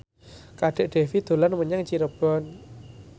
Kadek Devi dolan menyang Cirebon